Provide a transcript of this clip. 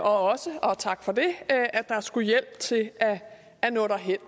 også og tak for det at der skulle hjælp til at nå derhen